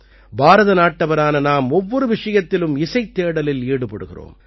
பாரத நாட்டவரான நாம் ஒவ்வொரு விஷயத்திலும் இசைத் தேடலில் ஈடுபடுகிறோம்